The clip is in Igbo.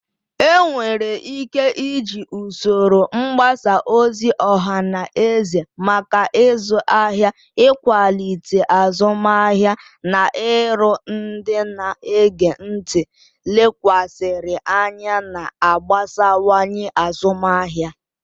Enwere ike iji usoro mgbasa ozi ọha na eze maka ịzụ ahịa, ịkwalite azụmahịa, na iru ndị na-ege ntị lekwasịrị anya, na-agbasawanye azụmahịa.